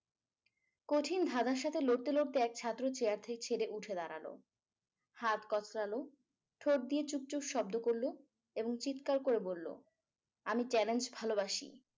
কঠিন ধাঁধার সাথে লড়তে লড়তে এক ছাত্র chair ছেড়ে উঠে দাঁড়ালো হাত কসলালো ঠোঁট দিয়ে চুক চুক শব্দ করলো এবং চিৎকার করে বললো আমি challenge ভালোবাসি